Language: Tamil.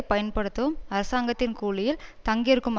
பயன்படுத்தவும் அரசாங்கத்தின் கூலியில் தங்கியிருக்கும்